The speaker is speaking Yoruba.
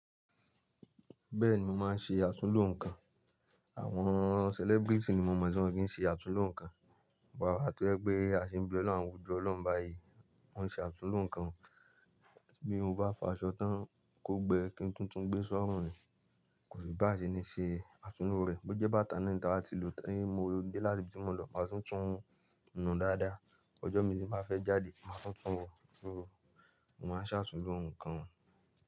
Bẹ́ẹ̀ni mo máa ń ṣe àtúnlo nǹkan. Àwọn celebrity ni mo mọ̀ tí wọ́n kí ń ṣe àtúnlo nǹkan. But àwa tó jẹ pe, a ṣì ń bẹ ọlọ́run, ojú ọlọ́run báyìí. Mo n ṣe àtúnlo nǹkan. Bí mo bá fọ aṣọ tán kó gbẹ kí n tún tún gbé sọ́run ni, kò sí bá ṣe ni ṣe àtúnlo rẹ̀. Bo jẹ́ bàtà náà ni taa ba ti lò tan, tí mo dé láti ibi tí mo lọ máa tún tún ún nu dáadáa. Ọjọ́ miran tí ń ba fẹ́ jáde, màá tún tún wọ. Mo máa ń ṣe àtúnlo nǹkan.